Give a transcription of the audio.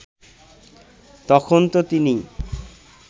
তখন তো তিনি